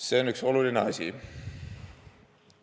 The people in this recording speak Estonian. See on üks oluline asi.